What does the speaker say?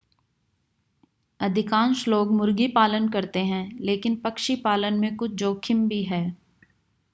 अधिकांश लोग मुर्गी पालन करते हैं लेकिन पक्षी पालन में कुछ जोखिम भी है